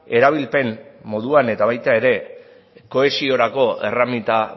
erabilpen moduan eta baita ere kohesiorako erreminta